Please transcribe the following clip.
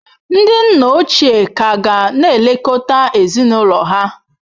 Ndị nna ochie ka ga na-elekọta ezinụlọ ha.